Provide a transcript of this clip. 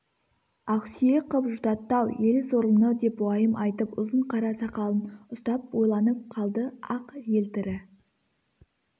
ақсүйек қып жұтатты-ау ел сорлыны деп уайым айтып ұзын қара сақалын ұстап ойланып қалды ақ елтірі